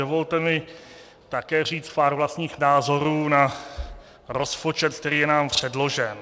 Dovolte mi také říct pár vlastních názorů na rozpočet, který je nám předložen.